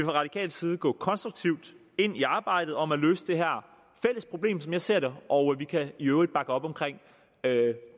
radikal side gå konstruktivt ind i arbejdet om at løse det her som jeg ser og vi kan i øvrigt bakke op om